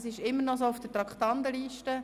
Das ist immer noch so auf der Traktandenliste.